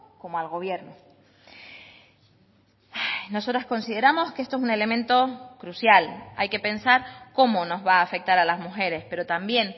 como al gobierno nosotras consideramos que esto es un elemento crucial hay que pensar cómo nos va a afectar a las mujeres pero también